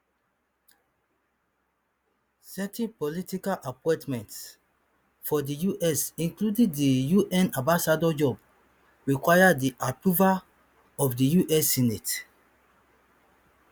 certain political appointments for di us including di un ambassador job require di approval of di us senate